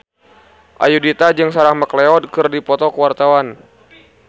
Ayudhita jeung Sarah McLeod keur dipoto ku wartawan